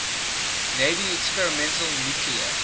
navy experimental nuclear